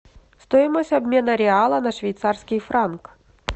стоимость обмена реала на швейцарский франк